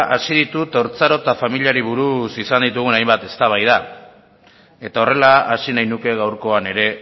hasi ditut haurtzaro eta familiari buruz izan ditugun hainbat eztabaida eta horrela hasi nahi nuke gaurkoan ere